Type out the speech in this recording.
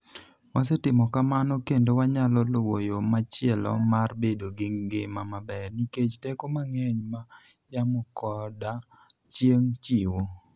Wasetimo kamano, kendo wanyalo luwo yo machielo mar bedo gi ngima maber, nikech teko mang'eny ma yamo koda chieng' chiwo.